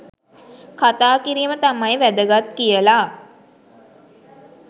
කතා කිරීම තමයි වැදගත් කියලා.